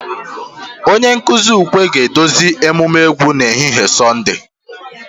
Onye nkuzi ukwe ga-eduzi emume egwu n'ehihie Sọnde